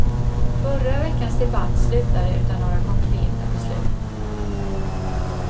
Förra veckans debatt slutade utan några konkreta beslut.